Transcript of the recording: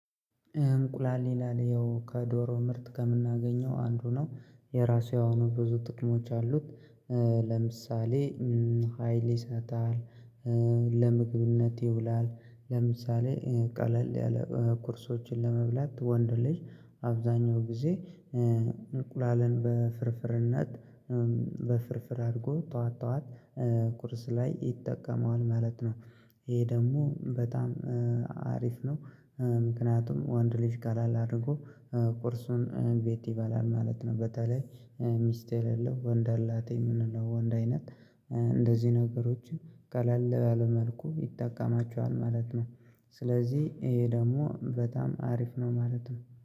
እንቁላል ሌላ ሌላው ከዶሮ ምርት ከምናገኘው አንዱ ነው የራሱ የሆኑ ብዙ ጥቅሞች አሉት። ለምሳሌ ሀይል ይሰጣል። ለምግብነት ይውላል ለምሳሌ ቀለል ያለ ኩርሶችን ለመብላት ወንድ ልጅ አብዛኛው ጊዜ እንቁላልን በፍርፍርነት በፍርፍር አድርጎ ጠዋት ጠዋት ቁርስ ላይ ይጠቀመዋል ማለት ነው። ይሄ ደግሞ በጣም አሪፍ ነው። ምክንያቱም ወንድ ልጅ ቀለል አድርጎ ቁርሱን ቤት ይበላል ማለት ነው። በተለይ ሚስት የሌለው ወንድ ላጤ የምንለው ወንድ አይነት እንደዚህ ነገሮች ቀላል ለመልኩ ይጠቀማቸዋል ማለት ነው። ስለዚህ ይሄ ደግሞ በጣም አሪፍ ነው ማለት ነው